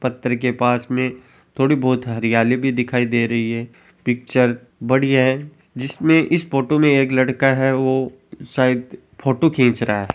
पत्थर के पास में थोड़ी बहुत हरियाली भी दिखाई दे रही है पिक्चर बढ़िया हैं जिसमे इस फोटो में एक लड़का है जो शायद फोटो खींच रहा है।